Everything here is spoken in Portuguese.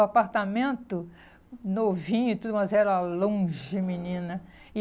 Um apartamento novinho e tudo, mas era longe, menina. E